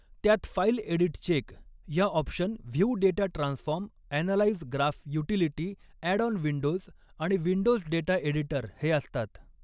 त्यात file edit check या option view data transform analyse graph utility add on windows आणि windows data editor हे असतात.